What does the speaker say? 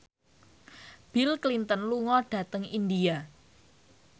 Bill Clinton lunga dhateng India